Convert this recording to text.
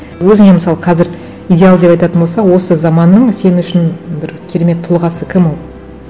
өзіңе мысалы қазір идеал деп айтатын болса осы заманның сен үшін бір керемет тұлғасы кім ол